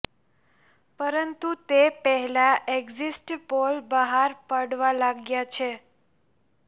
પરંતુ તે પહેલા એક્ઝિટ પોલ બહાર પડવા લાગ્યા છે